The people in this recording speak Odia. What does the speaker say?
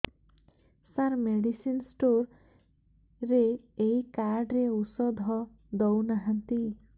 ସାର ମେଡିସିନ ସ୍ଟୋର ରେ ଏଇ କାର୍ଡ ରେ ଔଷଧ ଦଉନାହାନ୍ତି